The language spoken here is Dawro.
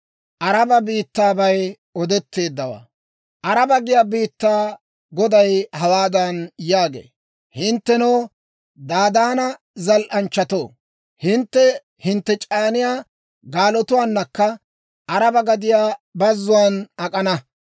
Araba giyaa biittaa Goday hawaadan yaagee; «Hinttenoo Dadaana zal"anchchatoo, hintte hintte c'aaniyaa gaalotuwaanakka Araba gadiyaa bazzuwaan ak'ana.